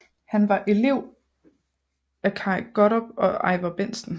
Han var elev af Kaj Gottlob og Ivar Bentsen